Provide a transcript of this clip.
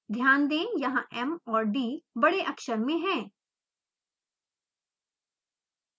ध्यान दें यहाँ m और d बड़े अक्षर में हैं